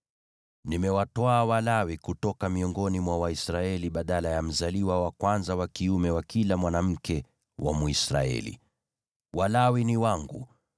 “Nimewatwaa Walawi kutoka miongoni mwa Waisraeli badala ya mzaliwa wa kwanza wa kiume wa kila mwanamke wa Mwisraeli. Walawi ni wangu,